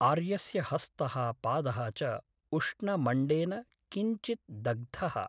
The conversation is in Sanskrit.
आर्यस्य हस्तः पादः च उष्णमण्डेन किञ्चित् दग्धः ।